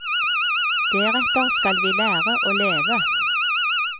Deretter skal vi lære å leve.